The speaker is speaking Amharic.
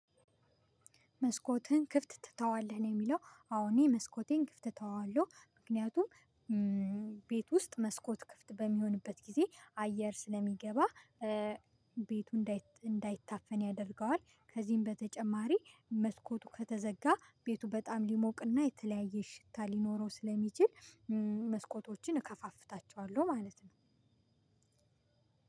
መስኮትህን ክፍት ትተዋለህ? ነው የሚለው። አዎ እኔ መስኮቴን ክፍት እተዋለሁ። ምክንያቱም ቤት ውስጥ መስኮት ክፍት በሚሆንበት ጊዜ አየር ስለሚገባ ቤቱ እንዳይታፈን ያደርገዋል ከዚህም በተጨማሪ መስኮቱ ከተዘጋ ቤቱ በጣም ሊሞቅና የተለያየ ሽታ ሊኖረው ስለሚችል መስኮቶችን እከፋፍታቸዋለሁ ማለት ነው